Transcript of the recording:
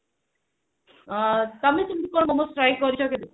ଅ ତମେ କଣ ସେମିତି କଣ ମୋମୋ try କରିଛ କେବେ